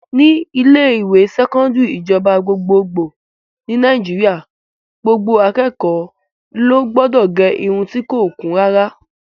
Ní ilé-ìwé sẹkọndiri ìjọba gbogbo ní Nàìjíríà, gbogbo akẹ́kọ̀ọ́ ló gbọdọ̀ gẹ irun ti kò kún rárá.